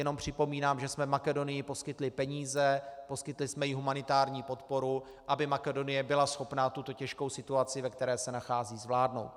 Jenom připomínám, že jsme Makedonii poskytli peníze, poskytli jsme jí humanitární podporu, aby Makedonie byla schopná tuto těžkou situaci, v které se nachází, zvládnout.